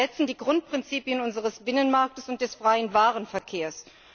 Sie verletzen die Grundprinzipien unseres Binnenmarkts und des freien Warenverkehrs.